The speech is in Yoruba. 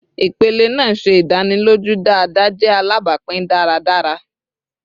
Ipele naa ṣe idaniloju dada jẹ alapin daradara